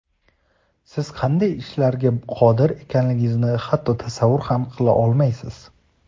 Siz qanday ishlarga qodir ekanligingizni hatto tasavvur ham qila olmaysiz.